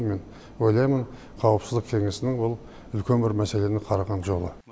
мен ойлаймын қауіпсіздік кеңесінің ол үлкен бір мәселені қараған жолы